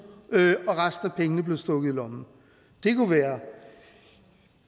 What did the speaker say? og resten af pengene blev stukket i lommen det kunne være